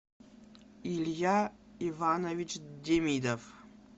илья иванович демидов